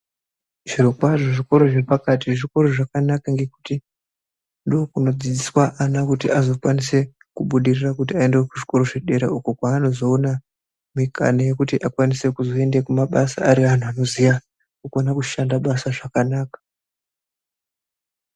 Zvirokwazvo zvikora zvepakati zvikora zvakanaka ngekuti ndiko kunodzidziswa ana kuti azokwanise kubudirira kuti aende kuzvikora zvedera uko kwaa nozoona mikana yekuti akwanise kuzoende kumabasa ari antu anoziya anokwanisa kushanda basa zvakanaka.